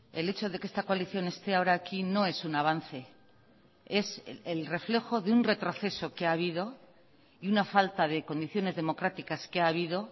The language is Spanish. el hecho de que esta coalición esté ahora aquí no es un avance es el reflejo de un retroceso que ha habido y una falta de condiciones democráticas que ha habido